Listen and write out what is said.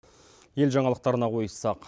ел жаңалықтарына ойыссақ